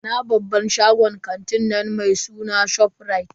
Ina babban shagon kantin nan mai suna ShopRite.